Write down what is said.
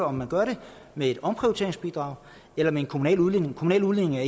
om man gør det med et omprioriteringsbidrag eller en kommunal udligning kommunal udligning er